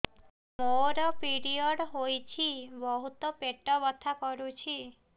ମୋର ପିରିଅଡ଼ ହୋଇଛି ବହୁତ ପେଟ ବଥା କରୁଛି